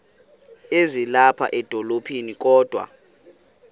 ezilapha edolophini kodwa